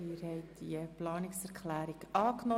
Sie haben die Planungserklärung 2 angenommen.